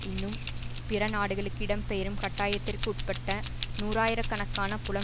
இன்னும் பிற நாடுகளுக்கு இடம்பெயரும் கட்டாயத்திற்கு உட்பட்ட நூறாயிர கணக்கான புலம்